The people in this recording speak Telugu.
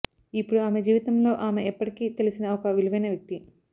ఇప్పుడు ఆమె జీవితంలో ఆమె ఎప్పటికి తెలిసిన ఒక విలువైన వ్యక్తి